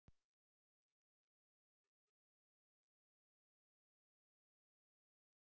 Ef dýrin þjást af svefnleysi er líklegasta skýringin einhver einkenni frá taugakerfi.